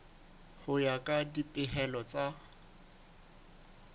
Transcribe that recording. ho ya ka dipehelo tsa